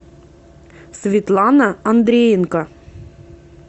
светлана андреенко